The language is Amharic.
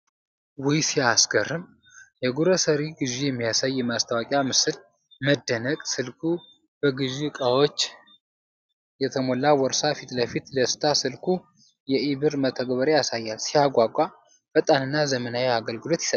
ውይ ሲያስገርም! የግሮሰሪ ግዢ የሚያሳይ የማስታወቂያ ምስል። መደነቅ። ስልኩ በግዢ እቃዎች የተሞላ ቦርሳ ፊት ለፊት። ደስታ። ስልኩ የኢ-ቢር መተግበሪያ ያሳያል። ሲያጓጓ! ፈጣንና ዘመናዊ አገልግሎት ይሰጣል።